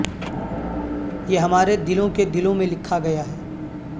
یہ ہمارے دلوں کے دلوں میں لکھا گیا ہے